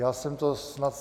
Já jsem to snad...